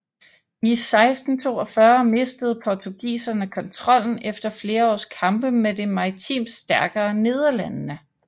I 1642 mistede portugiserne kontrollen efter flere års kampe med det maritimt stærkere Nederlandene